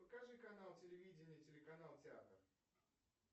покажи канал телевидения телеканал театр